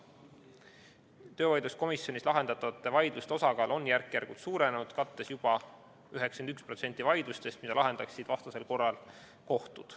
Töövaidluskomisjonis lahendatavate vaidluste osakaal on järk-järgult suurenenud, kattes juba 91% vaidlustest, mida lahendaksid vastasel korral kohtud.